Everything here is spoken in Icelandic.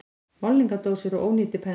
Málningardósir og ónýtir penslar.